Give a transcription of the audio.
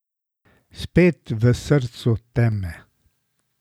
Spet v srcu teme.